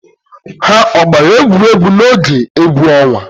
Ha ọ gbara egwuregwu n'oge egwu ọnwa?